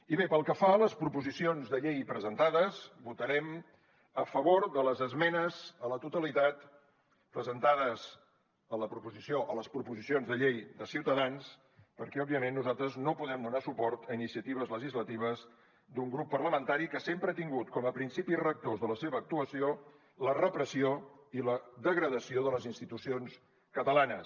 i bé pel que fa a les proposicions de llei presentades votarem a favor de les esmenes a la totalitat presentades a les proposicions de llei de ciutadans perquè òbviament nosaltres no podem donar suport a iniciatives legislatives d’un grup parlamentari que sempre ha tingut com a principis rectors de la seva actuació la repressió i la degradació de les institucions catalanes